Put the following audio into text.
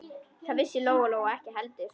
Það vissi Lóa-Lóa ekki heldur.